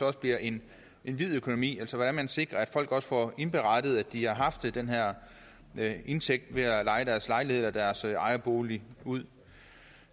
også bliver en hvid økonomi altså hvordan man sikrer at folk får indberettet at de har haft den her indtægt ved at leje deres lejlighed eller deres ejerbolig ud